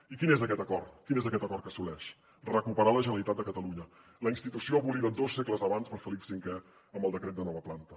i quin és aquest acord quin és aquest acord que assoleix recuperar la generalitat de catalunya la institució abolida dos segles abans per felip v amb el decret de nova planta